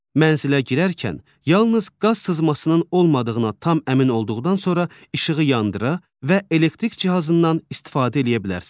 Mənsilə girərkən yalnız qaz sızmasının olmadığına tam əmin olduqdan sonra işığı yandıra və elektrik cihazından istifadə eləyə bilərsiniz.